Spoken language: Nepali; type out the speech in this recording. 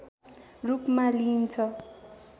रूपमा लिइन्छ